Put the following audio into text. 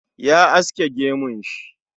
Ya aske gemun shi